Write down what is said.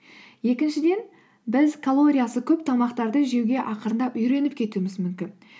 екіншіден біз калориясы көп тамақтарды жеуге ақырындап үйреніп кетуіміз мүмкін